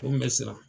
O kun bɛ siran